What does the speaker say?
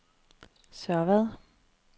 Sørvad